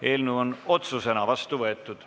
Eelnõu on otsusena vastu võetud.